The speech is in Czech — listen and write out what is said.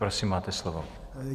Prosím, máte slovo.